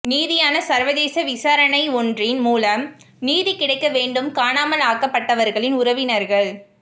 நீதியான சர்வதேச விசாரணை ஒன்றின் மூலம் நீதி கிடைக்க வேண்டும் காணாமல் ஆக்கப்பட்டவா்களின் உறவினா்கள்